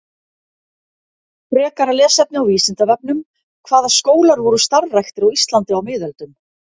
Frekara lesefni á Vísindavefnum: Hvaða skólar voru starfræktir á Íslandi á miðöldum?